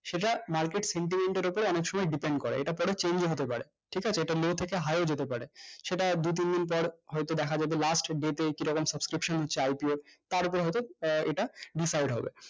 সোজা marketsentiment এর ওপর অনেক সময় depend করে এইটা পরে change ও হতে পারে ঠিক আছে এইটা may থেকে high ও যেতে পারে সেটা দু তিনদিন পর হয়তো দেখা যাবে lastmay তে কিরকম subscription হচ্ছে IPO তারপরে হয়তো আহ ইটা decide হবে